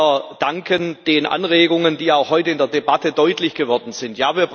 Wir danken den Anregungen, die auch heute in der Debatte deutlich geworden sind.